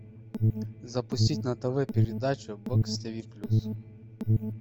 запустить на тв передачу бокс тв плюс